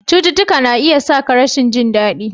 Cututtuka na iya sa ka rashin jin daɗi.